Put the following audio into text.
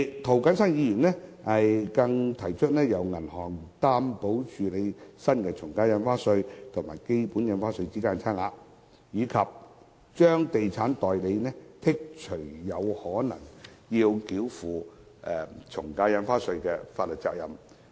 涂謹申議員更提出，由銀行擔保及處理新的從價印花稅與基本印花稅之間的差額，以及豁免地產代理繳付從價印花稅的法律責任。